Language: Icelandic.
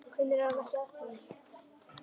Hvenær er hann ekki að því!